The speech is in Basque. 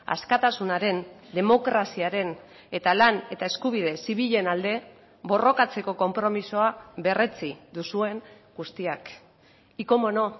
askatasunaren demokraziaren eta lan eta eskubide zibilen alde borrokatzeko konpromisoa berretsi duzuen guztiak y cómo no